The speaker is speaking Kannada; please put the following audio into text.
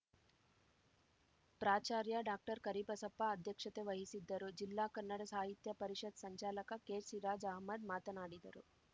ಪ್ರಾಚಾರ್ಯ ಡಾಕ್ಟರ್ ಕರಿಬಸಪ್ಪ ಅಧ್ಯಕ್ಷತೆ ವಹಿಸಿದ್ದರು ಜಿಲ್ಲಾ ಕನ್ನಡ ಸಾಹಿತ್ಯ ಪರಿಷತ್‌ ಸಂಚಾಲಕ ಕೆ ಸಿರಾಜ್‌ ಅಹಮದ್‌ ಮಾತನಾಡಿದರು